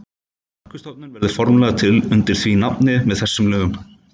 Orkustofnun verður formlega til undir því nafni með þessum lögum.